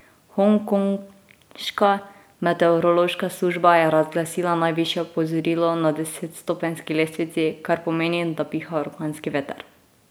Hongkonška meteorološka služba je razglasila najvišje opozorilo na desetstopenjski lestvici, kar pomeni, da piha orkanski veter.